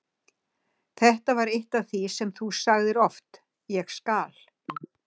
Þetta var eitt af því sem þú sagðir oft: Ég skal.